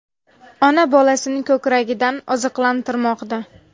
Ona bolasini ko‘kragidan oziqlantirmoqda.